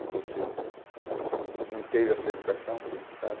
E você não teve essa educação, que a gente sabe.